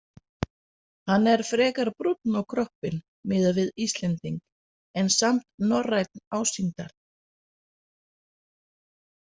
Hann er frekar brúnn á kroppinn miðað við Íslending en samt norrænn ásýndar.